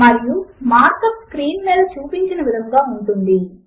మరియు mark up screen మీద చూపిన విధముగా ఉంటుంది